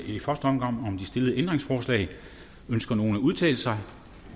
i første omgang om det stillede ændringsforslag ønsker nogen at udtale sig